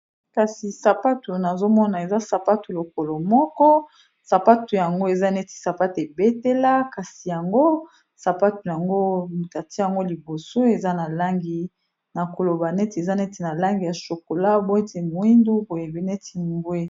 Kasi, sapatu nazo mona, eza sapato lokolo moko. Sapatu yango, eza neti sapato ebetela. Kasi yango sapatu yango batie yango liboso. Eza na langi na koloba neti eza neti na langi ya chokola, netî moindu, boye neti mbwe.